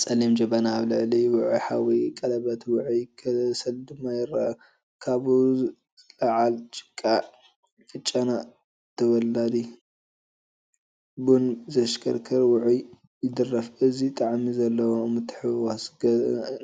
ጸሊም ጀበና ኣብ ልዕሊ ውዑይ ሓዊ ፣ቀለቤት ውዑይ ከሰል ድማ ይርአ። ካብኡ ዝለዓል ጭቃ ንጨና ተወላዲ ቡን ዘዘኻኽር ውዑይ ይደርፍ። እዚ ጣዕሚ ዘለዎ ምትሕውዋስ